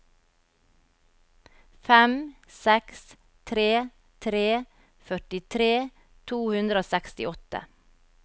fem seks tre tre førtitre to hundre og sekstiåtte